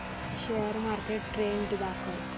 share market trend दाखव